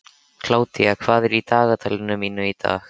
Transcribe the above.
Kládía, hvað er í dagatalinu mínu í dag?